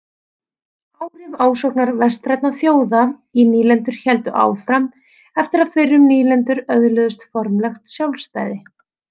Áhrif ásóknar vestrænna þjóða í nýlendur héldu áfram eftir að fyrrum nýlendur öðluðust formlegt sjálfstæði.